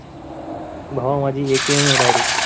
भावा माझी AKM आहे direct